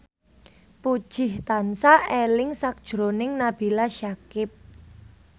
Puji tansah eling sakjroning Nabila Syakieb